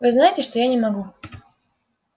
вы знаете что я не могу